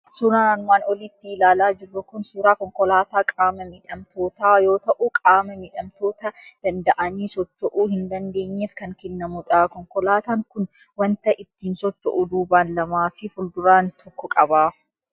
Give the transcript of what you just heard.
Suuraan armaan olitti ilaalaa jirru kun suuraa konkolaataa qaama miidhamtootaa yoo ta'u, qaama miidhamtoota danda'anii socho'uu hin dandeenyeef kan kennamu dha. Konkolaataan kun waanta ittiin socho'u duubaan lamaa fi fuulduraan tokko qaba.